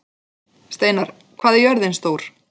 Steinar, hvað er jörðin stór?